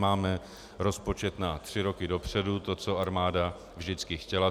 Máme rozpočet na tři roky dopředu, to, co armáda vždycky chtěla.